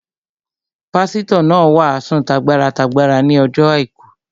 Pásítọ̀ náà wàásù t'agbára t'agbára ní ọjọ́ àìkú